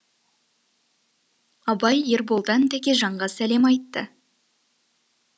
абай ерболдан тәкежанға сәлем айтты